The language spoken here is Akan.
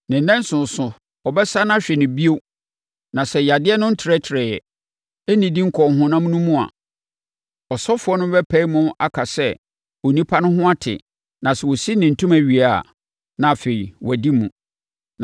Ne nnanson so, ɔbɛsane ahwɛ no bio na sɛ yadeɛ no ntrɛtrɛeɛ, nnidi nkɔɔ honam no mu a, ɔsɔfoɔ no bɛpae mu aka sɛ onipa no ho ate na sɛ ɔsi ne ntoma wie a, na afei wadi mu.